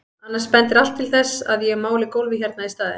Annars bendir allt til þess að ég máli gólfið hérna í staðinn.